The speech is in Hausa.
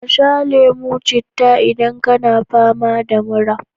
Ka sha lemo citta idan kana fama da mura.